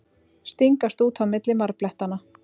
Stingast út á milli marblettanna.